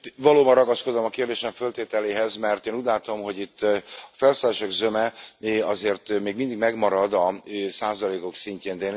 Valóban ragaszkodom a kérdésem föltételéhez, mert én úgy látom, hogy itt a felszólalások zöme azért még mindig megmarad a százalékok szintjén.